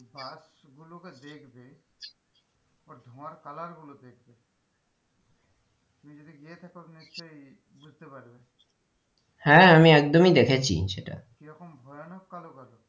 বাস গুলোকে দেখবে ওর ধোঁয়ার colour গুলো দেখবে তুমি যদি গিয়ে থাকো নিশ্চই বুঝতে পারবে হ্যাঁ আমি একদমই দেখেছি সেটা কি রকম ভয়ানক কালো,